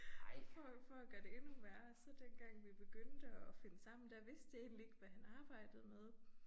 Og for at for at gøre det endnu værre så dengang vi begyndte at finde sammen så vidste jeg egentlig ikke hvad han arbejdede med